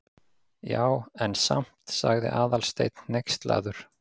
Já, en samt- sagði Aðalsteinn hneykslaður.